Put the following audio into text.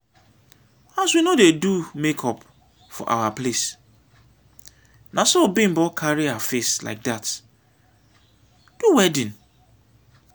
as we no dey do make-up for our place na so bimbo carry her face like that do wedding